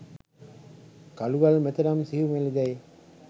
කළුගල් මෙතරම් සියුමැළි දැයි